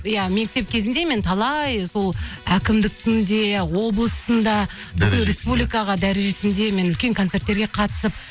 иә мектеп кезімде мен талай сол әкімдіктің де облыстың да бүкіл республикаға дәрежесінде мен үлкен концерттерге қатысып